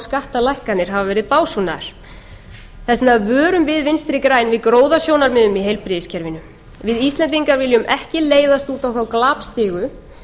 og skattalækkanir hafa verið básúnaðar þess vegna vörum við vinstri græn við gróðasjónarmiðum í heilbrigðiskerfinu við íslendingar viljum ekki leiðast út á þá glapstigu